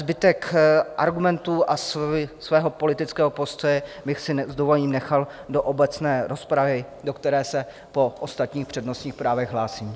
Zbytek argumentů a svého politického postoje bych si s dovolením nechal do obecné rozpravy, do které se po ostatních přednostních právech hlásím.